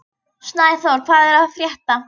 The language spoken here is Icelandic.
Snæþór, hvað er að frétta?